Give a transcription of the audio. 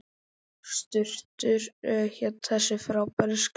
Surtur hét þessi frábæri skáli.